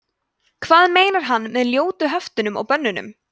hvað meinar hann með ljótu höftunum og bönnunum